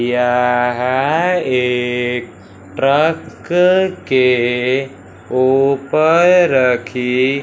यह एक ट्रक के ऊपर रखी--